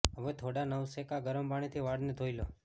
હવે થોડા નવસેકા ગરમ પાણીથી વાળને ધોઈ લો